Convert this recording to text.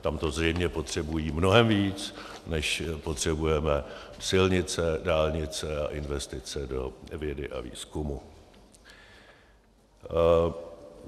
Tam to zřejmě potřebují mnohem víc, než potřebujeme silnice, dálnice a investice do vědy a výzkumu.